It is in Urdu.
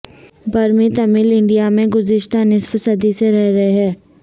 برمی تمل انڈیا میں گذشتہ نصف صدی سے رہ رہے ہیں